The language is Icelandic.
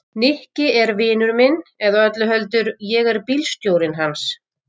Nikki er vinur minn eða öllu heldur, ég er bílstjórinn hans.